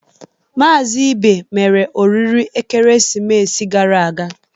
Maazị Ibe mere oriri ekeresimesi gara aga.